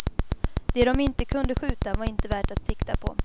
Det de inte kunde skjuta var inte värt att sikta på.